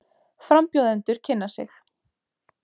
Frambjóðendur kynna sig